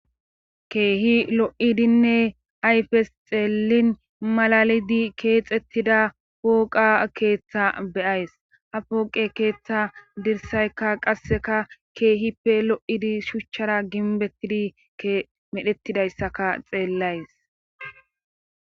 keehi lo7idinne ayfes xeellin malalidi keexettida pooqa keeththa beyays ha pooqe keeththa dirsayka qasseka keehippe lo7idi shuchchara ginbettidi medhettidayssaka xeellays